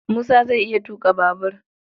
Musa zai iya tuƙa babur